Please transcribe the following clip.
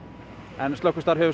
en slökkvistarf hefur